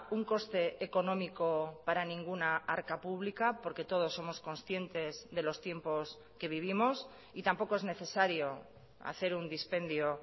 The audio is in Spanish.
un coste económico para ninguna arca pública porque todos somos conscientes de los tiempos que vivimos y tampoco es necesario hacer un dispendio